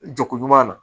Jaku ɲuman na